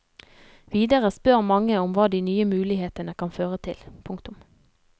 Videre spør mange om hva de nye mulighetene kan føre til. punktum